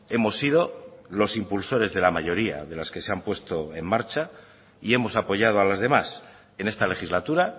hemos sido los impulsores de la mayoría de las que se han puesto en marcha y hemos apoyado a las demás en esta legislatura